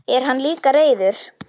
En hann er líka reiður.